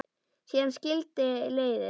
Síðan skildi leiðir.